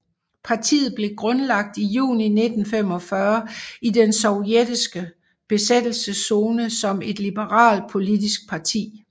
Partiet blev grundlagt i juni 1945 i den sovjetiske besættelseszone som et liberalt politisk parti